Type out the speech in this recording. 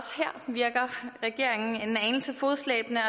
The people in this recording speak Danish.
virker regeringen en anelse fodslæbende og